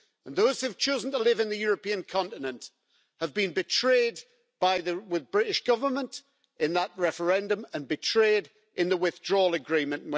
Those who have chosen to live in the European continent have been betrayed by the British Government in that referendum and betrayed in the withdrawal agreement.